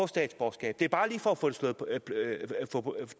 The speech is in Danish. statsborgerskab det er bare lige for at få